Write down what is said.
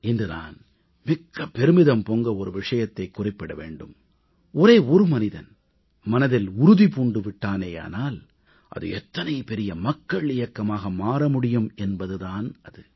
இன்று நான் மிக்க பெருமிதம் பொங்க ஒரு விஷயத்தை குறிப்பிட வேண்டும் ஒரே ஒரு மனிதன் மனதில் உறுதி பூண்டு விட்டானேயானால் அது எத்தனை பெரிய மக்கள் இயக்கமாக மாற முடியும் என்பது தான் அது